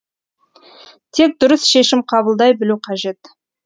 тек дұрыс шешім қабылдай білу қажет